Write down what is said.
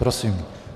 Prosím.